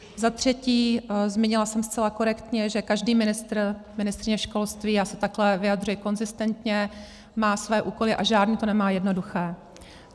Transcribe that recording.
Za třetí, zmínila jsem zcela korektně, že každý ministr, ministryně školství, já se takhle vyjadřuji konzistentně, má své úkoly a žádný to nemá jednoduché.